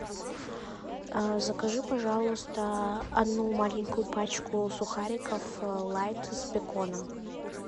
закажи пожалуйста одну маленькую пачку сухариков лайт с беконом